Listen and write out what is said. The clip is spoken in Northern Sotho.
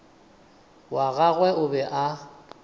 wa gagwe o be a